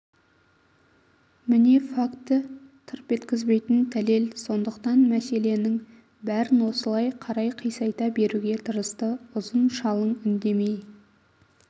міне факті тырп еткізбейтін дәлел сондықтан мәселенің бәрін осылай қарай қисайта беруге тырысты ұзын шалың үндемей